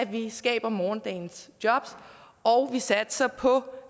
vi skaber morgendagens jobs og vi satser på